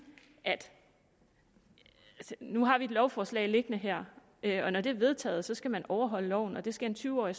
at nu har vi et lovforslag liggende her her og når det er vedtaget skal man overholde loven og det skal en tyve årig